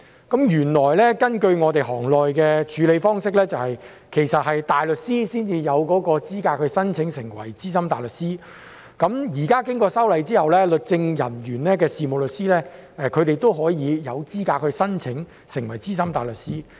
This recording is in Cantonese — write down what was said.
根據我們行內的處理方式，其實大律師才有資格申請成為資深大律師，現在經過修例後，任職律政人員的事務律師也有資格申請成為資深大律師。